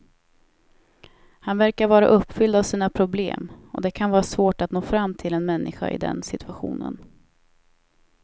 Han verkar vara uppfylld av sina problem och det kan vara svårt att nå fram till en människa i den situationen.